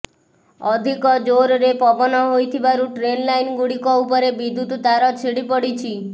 ଅଧିକ ଜୋରରେ ପବନ ହୋଇଥିବାରୁ ଟ୍ରେନ୍ ଲାଇନ୍ ଗୁଡ଼ିକ ଉପରେ ବିଦ୍ୟୁତ ତାର ଛିଡ଼ି ପଡ଼ିଛି